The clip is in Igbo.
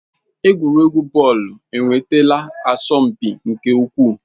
Egwuregwu bọọlụ enwetala asọmpi nke ukwuu.